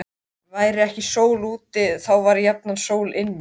Væri ekki sól úti, þá var jafnan sól inni.